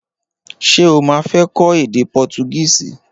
Ṣé o ma fé kó èdè portugísì?